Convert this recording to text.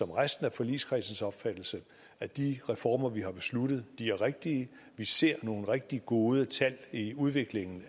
resten af forligskredsens opfattelse at de reformer vi har besluttet er rigtige vi ser nogle rigtig gode tal i udviklingen